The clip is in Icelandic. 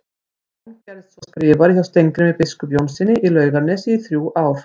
Jón gerðist svo skrifari hjá Steingrími biskupi Jónssyni í Laugarnesi í þrjú ár.